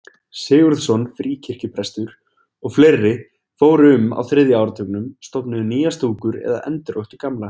Sigurðsson fríkirkjuprestur og fleiri fóru um á þriðja áratugnum, stofnuðu nýjar stúkur eða endurvöktu gamlar.